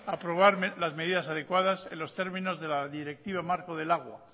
aprobar las medidas adecuadas en los términos de la directiva marco del agua